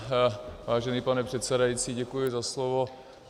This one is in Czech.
Vážený pane předsedající, děkuji za slovo.